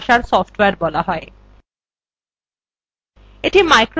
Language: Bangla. এটিকে সাংখিক ভাষার সফ্টওয়্যার বলা যায়